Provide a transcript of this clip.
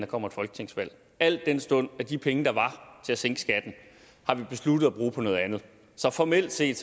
kommer et folketingsvalg al den stund at de penge der var til at sænke skatten har vi besluttet at bruge på noget andet så formelt set